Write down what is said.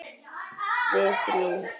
Við þrjú.